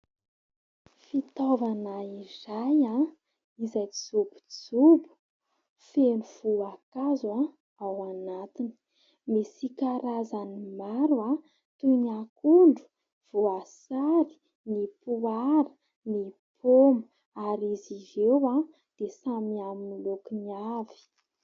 Fitaovana iray izay jobojobo feno voankazo ao anatiny. Misy karazany maro toy ny akondro, voasary, ny poara, ny paoma ary izy ireo dia samy amin'ny lokony avy.